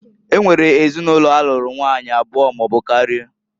E nwere ezinụlọ alụrụ nwanyị abụọ maọbụ karịa.